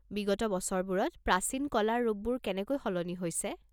বিগত বছৰবোৰত প্ৰাচীন কলাৰ ৰূপবোৰ কেনেকৈ সলনি হৈছে?